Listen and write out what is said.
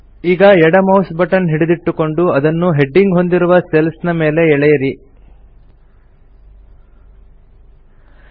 ಈಗ ಎಡ mouse button ಹಿಡಿದಿಟ್ಟುಕೊಂಡು ಅದನ್ನು ಹೆಡ್ಡಿಂಗ್ ಹೊಂದಿರುವ ಸೆಲ್ಸ್ ನ ಮೇಲೆ ಎಳೆಯಿರಿ ಡ್ರ್ಯಾಗ್